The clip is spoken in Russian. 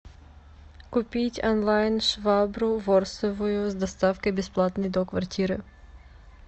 купить онлайн швабру ворсовую с доставкой бесплатной до квартиры